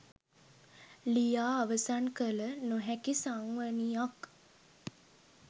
ලියා අවසන් කළ නොහැකි සංවනියක්